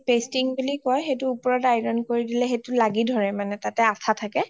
pasting বুলি কয় সেইটোৰ উপৰত iron কৰি দিলে সেইটো লাগি ধৰে তাত মানে তাতে আঠা থাকে